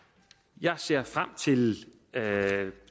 jeg ser frem til